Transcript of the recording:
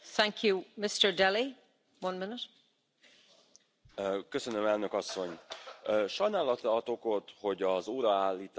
Doamna președintă, stimați colegi, apreciez discursul domnului Juncker, echilibrat și responsabil.